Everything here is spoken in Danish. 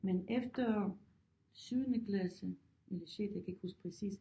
Men efter syvende klasse eller sjette jeg kan ikke huske præcis